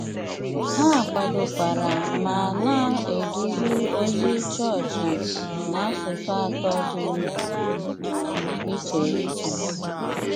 Há kwádòkwárá má ná-édúzí ózí chọọchị n’ásụsụ átọ dí íché íché.